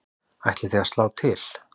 Ætlið þið að slá til?